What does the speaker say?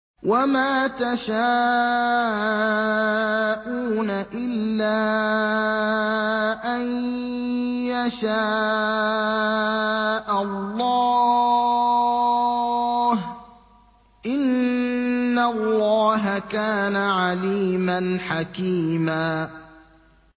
وَمَا تَشَاءُونَ إِلَّا أَن يَشَاءَ اللَّهُ ۚ إِنَّ اللَّهَ كَانَ عَلِيمًا حَكِيمًا